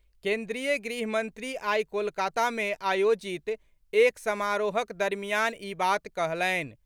केन्द्रीय गृहमंत्री आई कोलकाता में आयोजित एक समारोहक दरमियान ई बात कहलनि।